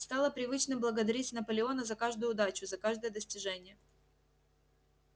стало привычным благодарить наполеона за каждую удачу за каждое достижение